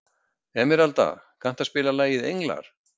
Emeralda, kanntu að spila lagið „Englar“?